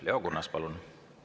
Leo Kunnas, palun!